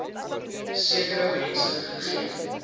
sekere mense gegee